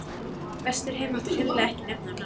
Vesturheim mátti hreinlega ekki nefna á nafn.